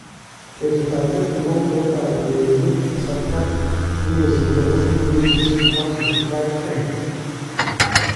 Betutab leet nebo utoetab urereniik kasarta nikosirtoo kokii poindisiek 155m.